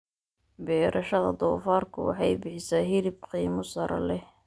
Beerashada doofaarku waxay bixisaa hilib qiimo sare leh.